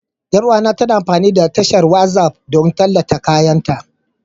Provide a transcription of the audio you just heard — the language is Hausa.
Yar uwata tana amfani da tashar WhatsApp don tallata kayanta